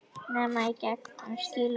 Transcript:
Nema í gegn- um skilaboð.